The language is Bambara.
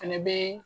Fɛnɛ bee